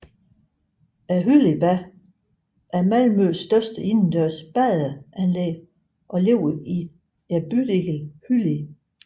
Hylliebadet er Malmøs største indendørs badeanlæg og ligger i bydelen Hyllie